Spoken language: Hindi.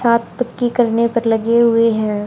हाथ तुक्की करने पर लगे हुए हैं।